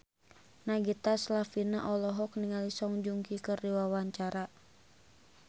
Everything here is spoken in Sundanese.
Nagita Slavina olohok ningali Song Joong Ki keur diwawancara